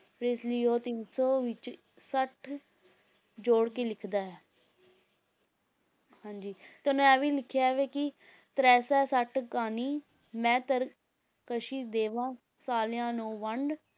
ਤੇ ਇਸ ਲਈ ਉਹ ਤਿੰਨ ਸੌ ਵਿੱਚ ਸੱਠ ਜੋੜ ਕੇ ਲਿੱਖਦਾ ਹੈ ਹਾਂਜੀ ਤੇ ਉਹਨੇ ਇਹ ਵੀ ਲਿਖਿਆ ਵਾ ਕਿ ਤ੍ਰੈ ਸੈ ਸੱਠ ਕਾਨੀ ਮੈਂ ਤਰਕਸ਼ੀ ਦੇਵਾਂ ਸਾਲਿਆਂ ਨੋ ਵੰਡ